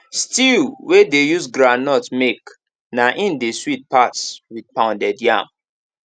stew wey dey use groundnut make na im dey sweet pas with pounded yam